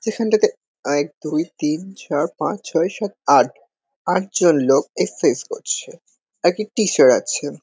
সেখাটাতে এক দুই তিন চার পাঁচ ছয় সাত আট। আটজন লোক এক্সারসাইজ করছে। একটা টিচার আছেন।